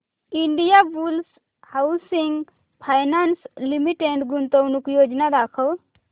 Indiabulls housing finance limited गुंतवणूक योजना दाखव